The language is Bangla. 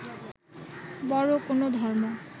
বড় কোন ধর্ম